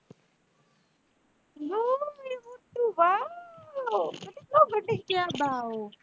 ਉਹ ਕੱਬਡੀ ਖੇਡਦਾ ਉਹ।